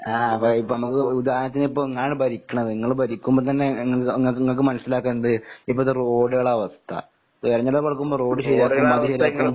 ആഹ് അപ്പ ഇപ്പമ്മക്ക് ഉദാഹരണത്തിനിപ്പ ഇങ്ങളാണ് ഭരിക്കണത്. നിങ്ങള് ഭരിക്കുമ്പ തന്നെ ഇങ്ങക്ക് ഇങ്ങക്ക് മനസിലാക്കാം എന്ത് ഇപ്പഴത്തെ റോഡുകളെ അവസ്ഥ. തെരഞ്ഞെടുപ്പടുക്കുമ്പ റോഡ് ശെരിയാക്കും അത് ശെരിയാക്കും.